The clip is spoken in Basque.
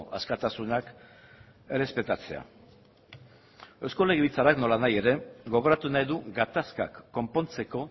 askatasunak errespetatzea eusko legebiltzarrak nola nahi ere gogoratu nahi du gatazkak konpontzeko